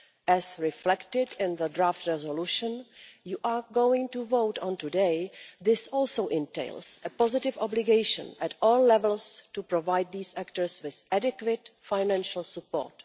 As reflected in the draft resolution you are going to vote on today, this also entails a positive obligation at all levels to provide these actors with adequate financial support.